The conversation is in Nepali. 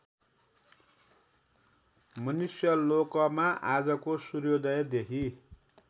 मनुष्यलोकमा आजको सूर्योदयदेखि